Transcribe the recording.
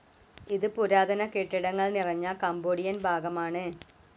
ഇത് പുരാതന കെട്ടിടങ്ങൾ നിറഞ്ഞ കംബോഡിയൻ ഭാഗമാണ്.